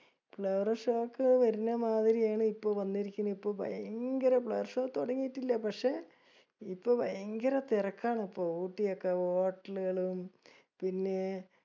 Flower show ഒക്കെ വർനെ മാതിരി ആണ് ഇപ്പൊ വന്നിരിക്കണേ. ഇപ്പൊ ഭയങ്കര flower show തുടങ്ങീട്ടില്ല പക്ഷെ ഇപ്പൊ ഭയങ്കര തെരക്കാണ് ഇപ്പോ ഊട്ടി ഒക്കെ hotel കൾ പിന്നെ